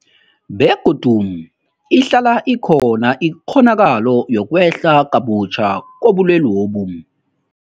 Begodu ihlala ikhona ikghonakalo yokwehla kabutjha kobulwelobu.